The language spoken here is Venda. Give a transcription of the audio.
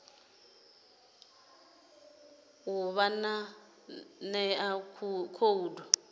u ḓo vha ṋea khoudu